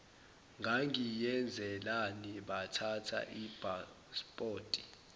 ngangiyenzelani bathatha ipaspoti